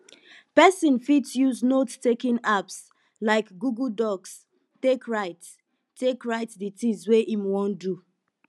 person fit use note taking apps like google docs take write take write di things wey im wan do